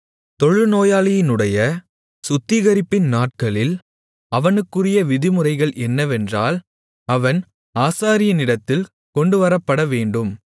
தொழுநோயாளியினுடைய சுத்திகரிப்பின் நாட்களில் அவனுக்குரிய விதிமுறைகள் என்னவென்றால் அவன் ஆசாரியனிடத்தில் கொண்டுவரப்படவேண்டும்